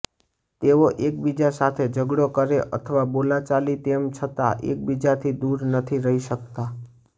તેઓ એકબીજા સાથે ઝઘડો કરે અથવા બોલાચાલી તેમ છતાં એકબીજાથી દૂર નથી રહી શકતા